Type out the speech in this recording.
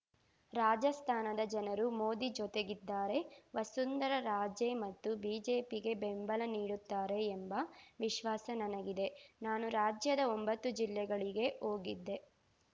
ರಾಜಸ್ಥಾನದ ಜನರು ಮೋದಿ ಜೊತೆಗಿದ್ದಾರೆ ವಸುಂಧರಾ ರಾಜೇ ಮತ್ತು ಬಿಜೆಪಿಗೆ ಬೆಂಬಲ ನೀಡುತ್ತಾರೆ ಎಂಬ ವಿಶ್ವಾಸ ನನಗಿದೆ ನಾನು ರಾಜ್ಯದ ಒಂಬತ್ತು ಜಿಲ್ಲೆಗಳಿಗೆ ಹೋಗಿದ್ದೆ